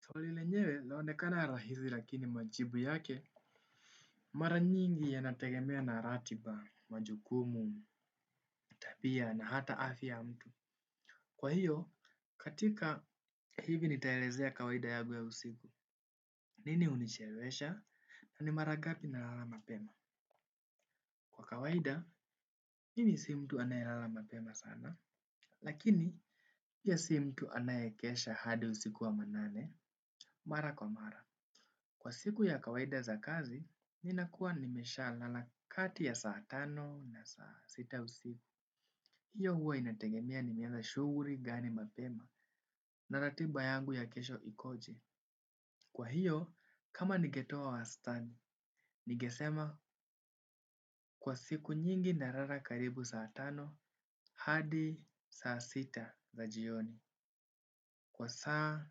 Swali lenyewe laonekana rahisi rakini majibu yake mara nyingi yanategemea na ratiba majukumu tabia na hata afya ya mtu. Kwa hiyo, katika hivi nitaelezea kawaida yagu ya usiku. Nini unichewelesha na ni maragapi na lala mapema? Kwa kawaida, mimi si mtu anayelala mapema sana, lakini pia ya sii mtu anayekesha hadi usiku wamanane. Mara kwa mara. Kwa siku ya kawaida za kazi, ninakua nimesha lala kati ya saa tano na saa sita usipu. Hiyo huwa inategemea nimiaza shuguri gani mapema na ratiba yangu ya kesho ikoje. Kwa hiyo, kama nigetoa wastani, nigesema kwa siku nyingi narara karibu saa tano, hadi saa sita za jioni. Kwa saa,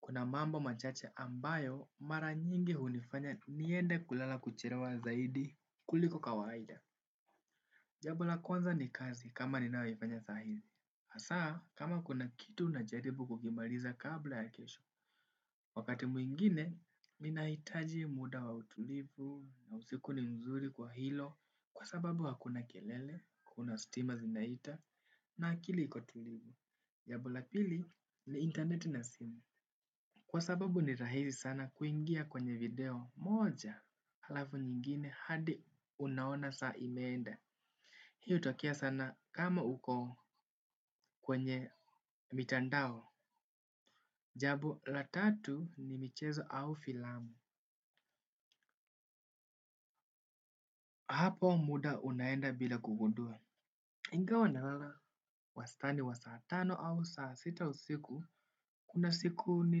kuna mambo machache ambayo, mara nyingi hunifanya niende kulala kucherewa zaidi kuliko kawaida. Jabo la kwanza ni kazi kama ninayoifanya sahili. Asaa, kama kuna kitu najaribu kugimaliza kabla ya kesho. Wakati muingine, minahitaji muda wa utulivu na usiku ni mzuri kwa hilo kwa sababu hakuna kelele, kuna stima zinaita, na akili ikotulivu. Jabo la pili ni internet na simu. Kwa sababu ni rahisi sana kuingia kwenye video moja alafu nyingine hadi unaona saa imeenda. Hii utokea sana kama uko kwenye mitandao. Jabo la tatu ni michezo au filamu. Hapo muda unaenda bila kugundua. Ingawa na lala. Wastani wa saa tano au saa sita usiku kuna siku ni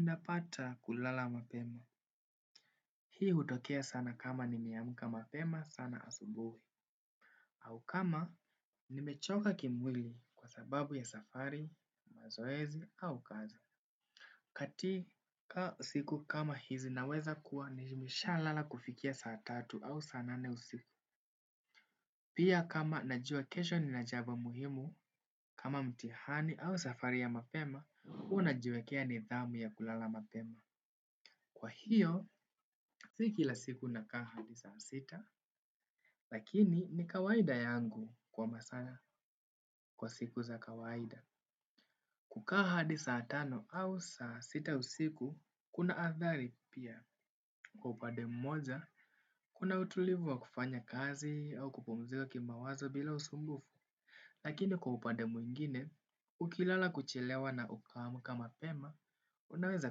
napata kulala mapema. Hii hutokea sana kama nimeamka mapema sana asubuhi. Au kama, nimechoka kimwili kwa sababu ya safari, mazoezi au kazi. Katika siku kama hizi naweza kuwa, nijimisha lala kufikia saa tatu au saa nane usiku. Pia kama najua kesho nina jaba muhimu kama mtihani au safari ya mapema, ua najiwekea nidhamu ya kulala mapema. Kwa hiyo, si ki la siku nakaa hadi saa sita, lakini ni kawaida yangu kwa masaa kwa siku za kawaida. Kukaa hadi saa tano au saa sita usiku, kuna athari pia. Kwa upade mmoja, kuna utulivu wa kufanya kazi au kupumzika kimawazo bila usumbufu. Lakini kwa upade mwingine, ukilala kuchelewa na ukaamka mapema, unaweza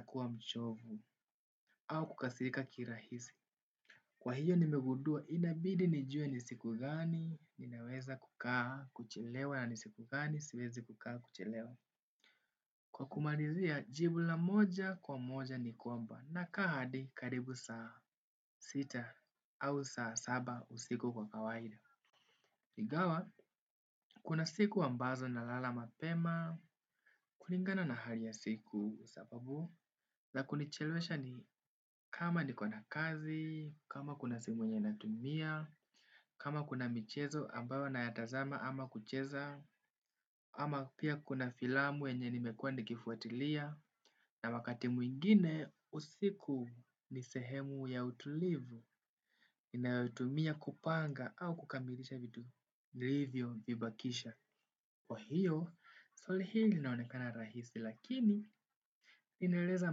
kuwa mchovu au kukasirika kirahisi. Kwa hiyo nimegudua, inabidi nijue ni siku gani, ninaweza kukaa, kuchelewa na ni siku gani, siwezi kukaa kuchelewa. Kwa kumarizia, jibu la moja kwa moja ni kwamba, nakaa hadi karibu saa sita au saa saba usiku kwa kawaida. Igawa, kuna siku ambazo na lala mapema, kuringana na hali ya siku sapabu. La kunichelewesha ni kama nikona kazi, kama kuna simu yenye natumia, kama kuna michezo ambayo nayatazama ama kucheza, ama pia kuna filamu yenye nimekua ndikifuatilia, na wakati mwingine usiku nisehemu ya utulivu inayotumia kupanga au kukamilisha vitu nlivyo vibakisha. Kwa hiyo, swali hili linaonekana rahisi lakini inereza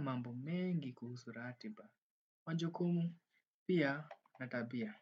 mambo mengi kuhusu ratiba. Wanjokumu, pia natabia.